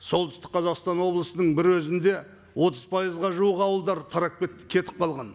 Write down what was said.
солтүстік қазақстан облысының бір өзінде отыз пайызға жуық ауылдар тарап кетті кетіп қалған